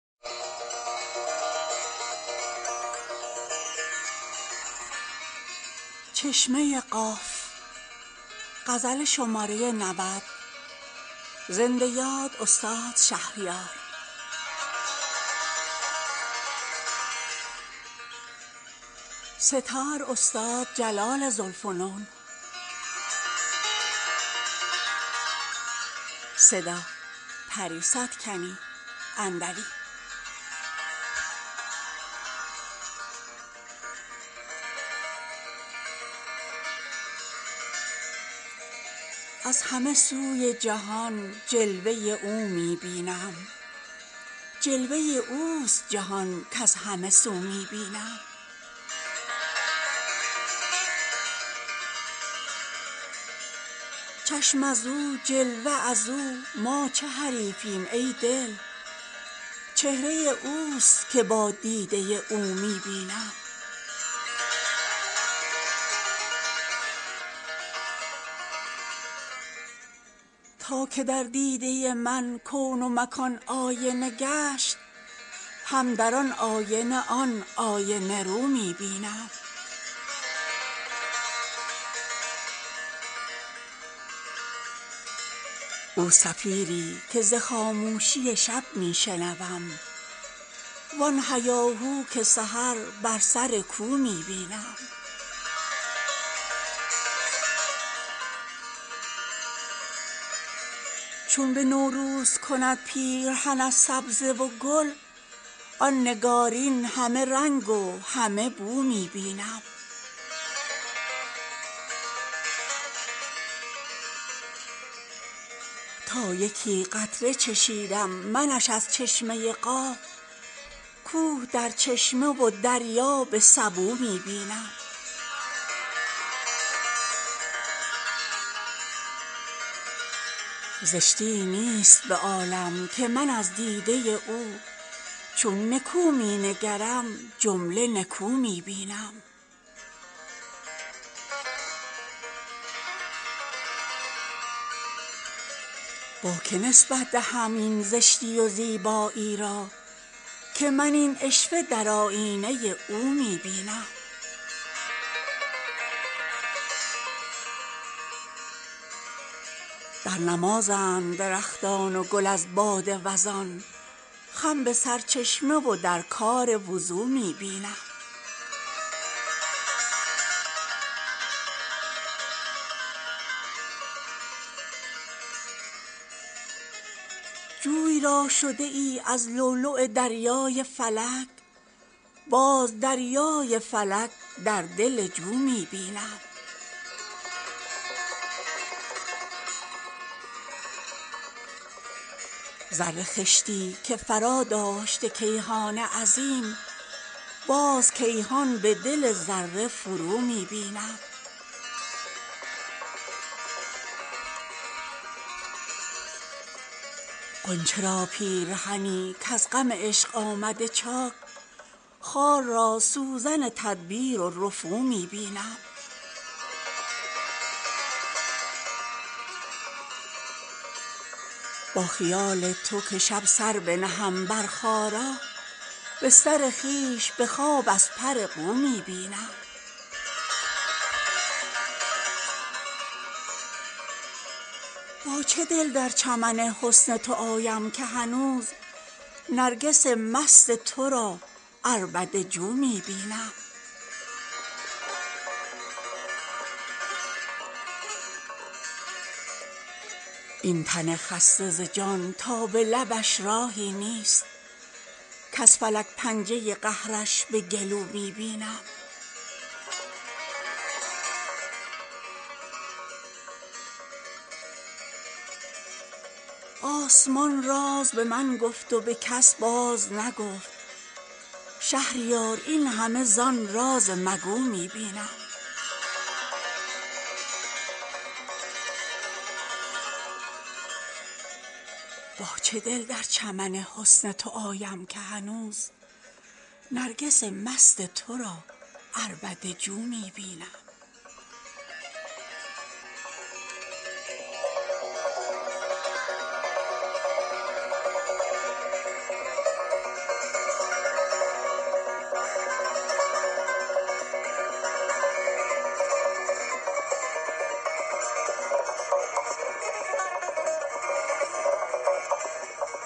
از همه سوی جهان جلوه او می بینم جلوه اوست جهان کز همه سو می بینم چشم از او جلوه از او ما چه حریفیم ای دل چهره اوست که با دیده او می بینم تا که در دیده من کون و مکان آینه گشت هم در آن آینه آن آینه رو می بینم او صفیری که ز خاموشی شب می شنوم وآن هیاهو که سحر بر سر کو می بینم چون به نوروز کند پیرهن از سبزه و گل آن نگارین همه رنگ و همه بو می بینم تا یکی قطره چشیدم منش از چشمه قاف کوه در چشمه و دریا به سبو می بینم زشتی ای نیست به عالم که من از دیده او چون نکو می نگرم جمله نکو می بینم با که نسبت دهم این زشتی و زیبایی را که من این عشوه در آیینه او می بینم در نمازند درختان و گل از باد وزان خم به سرچشمه و در کار وضو می بینم جوی را شده ای از لؤلؤ دریای فلک باز دریای فلک در دل جو می بینم ذره خشتی که فراداشته کیهان عظیم باز کیهان به دل ذره فرو می بینم غنچه را پیرهنی کز غم عشق آمده چاک خار را سوزن تدبیر و رفو می بینم با خیال تو که شب سر بنهم بر خارا بستر خویش به خواب از پر قو می بینم با چه دل در چمن حسن تو آیم که هنوز نرگس مست ترا عربده جو می بینم این تن خسته ز جان تا به لبش راهی نیست کز فلک پنجه قهرش به گلو می بینم آسمان راز به من گفت و به کس باز نگفت شهریار این همه زان راز مگو می بینم